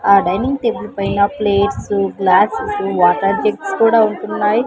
ఆ dining table పైన plates glasses water tin కూడా ఉంటున్నాయి.